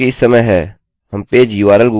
अभी यह एक एररerror देगा